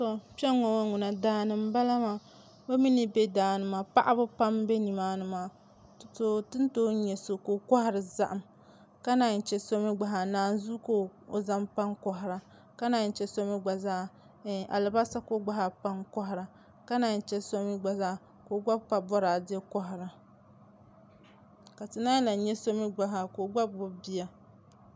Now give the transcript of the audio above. Kpɛnŋɔ ŋɔ ŋuna daani n bala maa bimi ni bɛ daani maa paɣaba pam n bɛ nimaani maa tini too yɛ so ka o kɔhiri zahim ka nanyi chɛ so mi gba zaa nanzuu ka o zaŋ pa n kɔhira ka nanyi chɛ so mi gbazaa alibasa ka o gbazaa pa n kɔhira ka nanyi chɛ so mi gba zaa ka opa bɔradɛ kɔhira ka ti nanyi lan yɛ so mi gbazaa ka o gba gbubi bia.